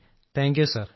thank you sir